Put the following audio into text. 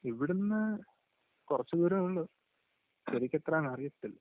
ഇവിടന്ന്...കുറച്ചുദൂരമേ ഉള്ളൂ..ശരിക്കെത്രാ ന് അറിയത്തില്ല.